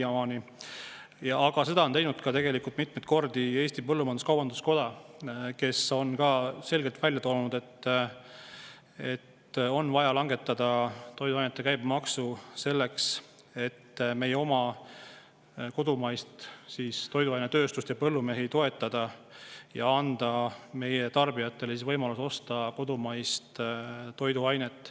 Aga on mitmeid kordi teinud ka Eesti Põllumajandus-Kaubanduskoda, kes on selgelt välja toonud, et on vaja langetada toiduainete käibemaksu, et meie toiduainetööstust ja põllumehi toetada ja anda tarbijatele võimalus osta kodumaiseid toiduaineid.